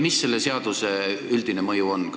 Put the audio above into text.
Mis selle seaduse üldine mõju on?